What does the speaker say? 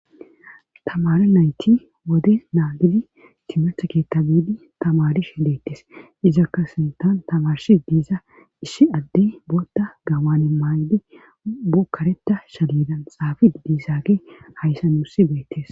tamare nayti wode naagidi cimetha keetta biidi tamarish hi deettes izakka sintan tamarshi diiza ishi addey bootta gawaane maaydi bukkareta shallidan xaafi diisaaka hayssa nussi beettes